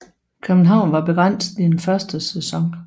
København var begrænset i den første sæson